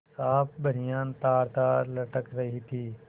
साफ बनियान तारतार लटक रही थी